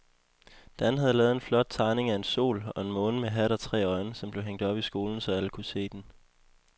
Dan havde lavet en flot tegning af en sol og en måne med hat og tre øjne, som blev hængt op i skolen, så alle kunne se den.